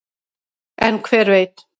en hver veit